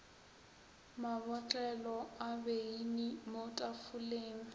mabotlelo a beine mo tafoleng